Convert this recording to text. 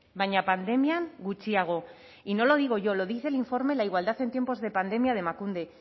baina pandemian gutxiago y no lo digo yo lo dice el informe la igualdad en tiempos de pandemia de emakunde